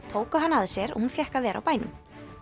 tóku hana að sér og hún fékk að vera á bænum